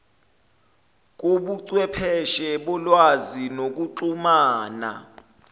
kobuchwepheshe bolwazi nokuxhumana